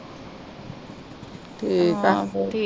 ਠੀਕ ਆ।